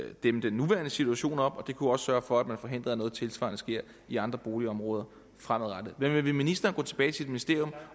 dæmme den nuværende situation op og det kunne også sørge for at man forhindrede at noget tilsvarende skete i andre boligområder fremadrettet men vil ministeren gå tilbage til sit ministerium